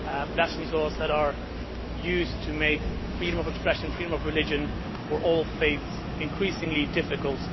blasphemy laws that are used to make freedom of expression, freedom of religion for all faiths, increasingly difficult.